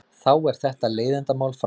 Þá er þetta leiðindamál frá.